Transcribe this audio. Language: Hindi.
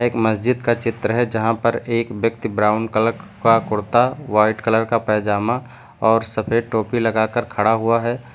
एक मस्जिद का चित्र है यहां पर एक व्यक्ति ब्राउन कलर का कुर्ता व्हाइट कलर का पायजामा और सफेद टोपी लगाकर खड़ा हुआ है।